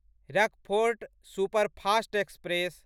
Rockfort superfast express